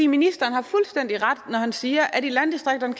ministeren har fuldstændig ret når han siger at vi i landdistrikterne